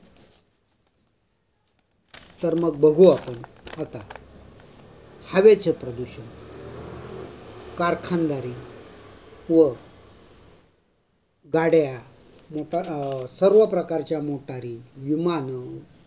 तर मग बघू आपण. हवेचे प्रदूषण. कारखानदारी व गाड्या अं सर्व प्रकारच्या motors, विमानं